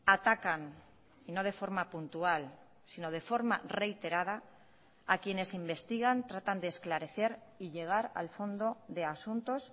atacan y no de forma puntual sino de forma reiterada a quienes investigan tratan de esclarecer y llegar al fondo de asuntos